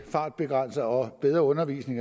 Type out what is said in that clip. fartbegrænsning og bedre undervisning